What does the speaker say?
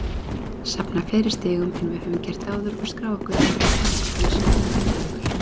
Safna fleiri stigum en við höfum gert áður og skrá okkur í bækur knattspyrnusögu Grindavíkur!